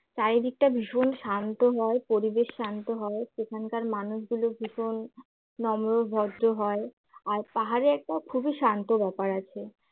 চারিদিকটা ভীষণ শান্ত হয় পরিবেশ শান্ত হয় সেখানকার মানুষগুলো ভীষণ নম্র-ভদ্র হয় আর পাহাড়ে একটা খুবই শান্ত ব্যাপার আছে।